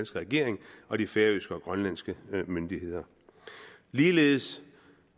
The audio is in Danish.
regering og de færøske og grønlandske myndigheder ligeledes